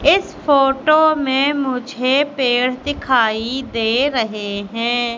इस फोटो में मुझे पेड़ दिखाई दे रहे हैं।